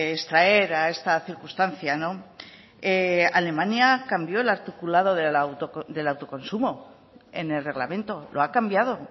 extraer a esta circunstancia alemania cambió el articulado del autoconsumo en el reglamento lo ha cambiado